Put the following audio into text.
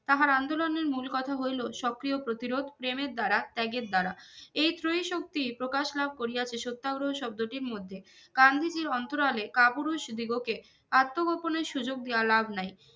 তাহার আন্দোলনের মুল কথা হইলো সক্রিয় প্রতিরোধ প্রেমের দারা ত্যাগের দারা এই ত্রয়ী শক্তি প্রকাশ লাভ করিয়াছে সত্যাগ্রহ শব্দটির মধ্যে গান্ধীজি অন্তরালে কাপুরুষ দিগোকে আত্মগোপনের সুযোগ দেওয়া লাভ নাই